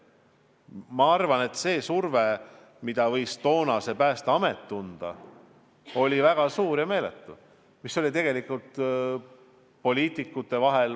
Ma arvan, et see surve, mida võis toona Päästeamet tunda, oli meeletu, aga tegelikult oli asi poliitikutes.